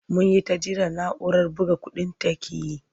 Mun yi ta jira na'urar buga kuɗin ta ƙi yi.